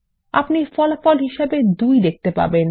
আপনি ফলাফল হিসাবে 2 দেখতে পাবেন